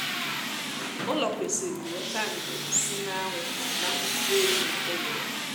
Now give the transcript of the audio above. ụlọ kwesịrị weta ndo si na anwụ na mkpuchi oyi na uguru